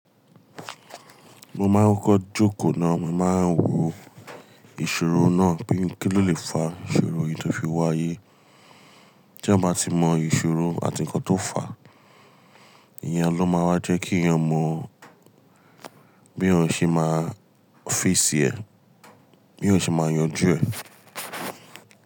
Mo máa ń kọ́ jókòó náà, mo máa ń wo ìṣorò náà bí kí lo lè fa ìṣorò yìí tó fi wá ayé. Tí eyan bá ti mọ ìṣorò àti ǹkan tó fà á, ìyẹn ló máa wá jẹ́ kí èèyàn mọ bí èyan ṣe máa face ẹ, bí èyan ṣe máa yanjú ẹ.